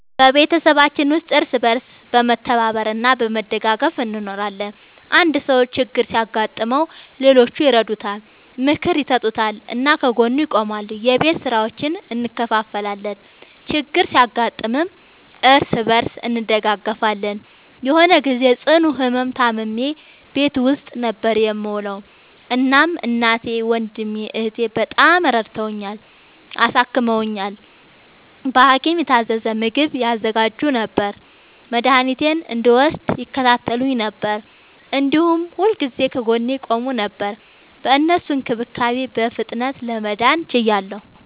በቤተሰባችን ውስጥ እርስ በርስ በመተባበር እና በመደጋገፍ እንኖራለን። አንድ ሰው ችግር ሲያጋጥመው ሌሎቹ ይረዱታል፣ ምክር ይሰጡታል እና ከጎኑ ይቆማሉ። የቤት ስራዎችን እንከፋፈላለን፣ ችግር ሲያጋጥምም እርስ በርስ እንደጋገፋለን። የሆነ ግዜ ጽኑ ህመም ታምሜ ቤት ውስጥ ነበር የምዉለዉ። እናም እናቴ፣ ወንድሜ፣ እህቴ፣ በጣም ረድተዉኛል፣ አሳክመዉኛል። በሀኪም የታዘዘ ምግብ ያዘጋጁ ነበር፣ መድኃኒቴን እንድወስድ ይከታተሉኝ ነበር፣ እንዲሁም ሁልጊዜ ከጎኔ ይቆሙ ነበር። በእነሱ እንክብካቤ በፍጥነት ለመዳን ችያለሁ።